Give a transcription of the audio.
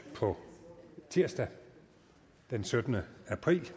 på tirsdag den syttende april